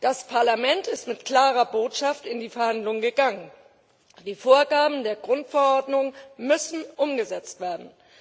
Das Parlament ist mit klarer Botschaft in die Verhandlungen gegangen Die Vorgaben der Grundverordnung müssen umgesetzt werden.